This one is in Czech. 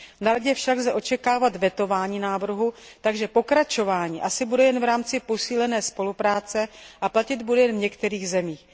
V Radě však lze očekávat vetování návrhu, takže pokračování asi bude jen v rámci posílené spolupráce a platit bude jen v některých zemích.